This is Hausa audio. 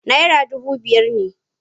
Naira dubu biyar ne.